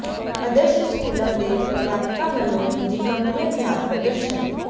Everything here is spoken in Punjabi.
ਆਦਰਸ਼ ਸਕੂਲਾਂ ਦੇ ਅਧਿਆਪਕਾਂ ਵੱਲੋਂ ਨਿੱਜੀ ਕੰਪਨੀਆਂ ਖ਼ਿਲਾਫ਼ ਪ੍ਰਦਰਸ਼ਨ